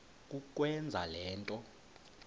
kukwenza le nto